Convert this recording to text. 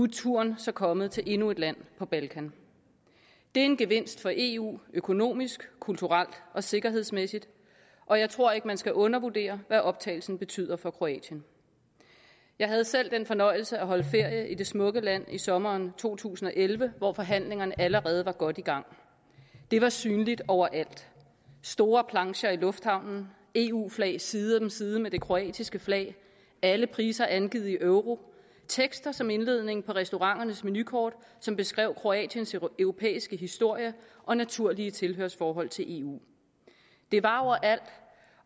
turen så kommet til endnu et land på balkan det er en gevinst for eu økonomisk kulturelt og sikkerhedsmæssigt og jeg tror ikke man skal undervurdere hvad optagelsen betyder for kroatien jeg havde selv den fornøjelse at holde ferie i det smukke land i sommeren to tusind og elleve hvor forhandlingerne allerede var godt i gang det var synligt overalt store plancher i lufthavnen eu flag side om side med det kroatiske flag alle priser angivet i euro og tekster som indledning på restauranternes menukort som beskrev kroatiens europæiske historie og naturlige tilhørsforhold til eu det var overalt